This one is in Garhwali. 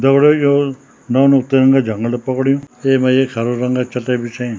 दगड़ियों यो नौनो तिरंगा झंगडा पकड़ियूँ येमा एक हरा रंगे चटयी बिछेईं।